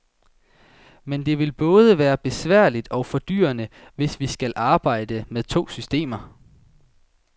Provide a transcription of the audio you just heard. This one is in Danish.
Men det vil både være besværligt og fordyrende, hvis vi skal arbejde med to systemer.